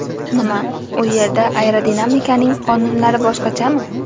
Nima, u yerda aerodinamikaning qonunlari boshqachami?